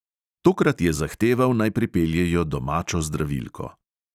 Tokrat je zahteval, naj pripeljejo domačo zdravilko.